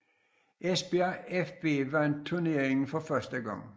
Esbjerg fB vandt turneringen for første gang